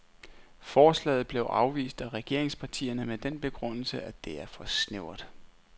Forslaget blev afvist af regeringspartierne med den begrundelse, at det er for snævert.